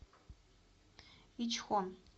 ичхон